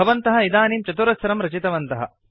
भवन्तः इदानीं चतुरस्रं रचितवन्तः